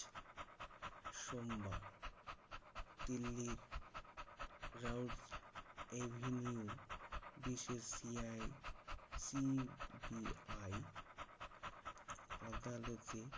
সোমবার দিল্লির Rouse avenue বিশেষ সি আই CBI আদালতে